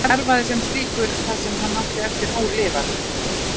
Hann starfaði sem slíkur það sem hann átti eftir ólifað.